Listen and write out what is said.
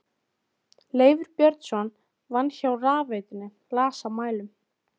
Leifur Björnsson vann hjá rafveitunni, las af mælum.